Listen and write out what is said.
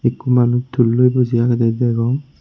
ekko manuj tulloi boji agede degong.